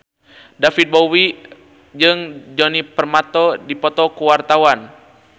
Djoni Permato jeung David Bowie keur dipoto ku wartawan